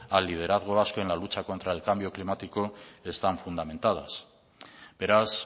al liderazgo vasco en la lucha contra el cambio climático están fundamentadas beraz